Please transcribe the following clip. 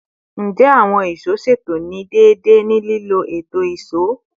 Njẹ awọn ìṣó ṣeto ni deede ni lilo eto ìṣó?